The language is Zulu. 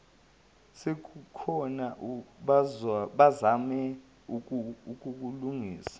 sezikhona bazame ukulinganisa